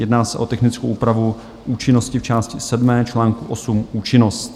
Jedná se o technickou úpravu účinnosti v části VII, čl. 8 Účinnost.